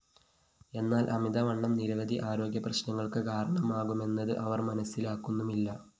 എന്നാല്‍ അമിതവണ്ണം നിരവധി ആരോഗ്യ പ്രശ്‌നങ്ങള്‍ക്ക് കാരണമാകുമെന്നത് അവര്‍ മനസിലാക്കുന്നുമില്ല